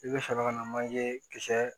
I bɛ sɔrɔ ka na manje kisɛ